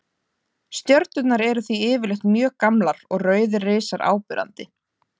Stjörnurnar eru því yfirleitt mjög gamlar og rauðir risar áberandi.